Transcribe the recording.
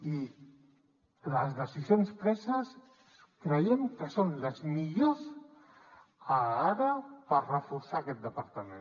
i les decisions preses creiem que són les millors ara per reforçar aquest departament